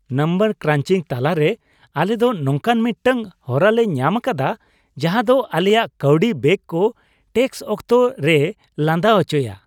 Number ᱠᱨᱟᱱᱪᱤᱝ ᱛᱟᱞᱟ ᱨᱮ, ᱟᱞᱮ ᱫᱚ ᱱᱚᱝᱠᱟᱱ ᱢᱤᱫᱴᱟᱝ ᱦᱚᱨᱟ ᱞᱮ ᱧᱟᱢ ᱟᱠᱟᱫᱼᱟ ᱡᱟᱦᱟᱸ ᱫᱚ ᱟᱞᱮᱭᱟᱜ ᱠᱟᱹᱣᱰᱤ ᱵᱮᱜ ᱠᱚ ᱴᱮᱠᱥ ᱚᱠᱛᱚ ᱨᱮᱭᱮ ᱞᱟᱸᱫᱟ ᱚᱪᱚᱭᱼᱟ !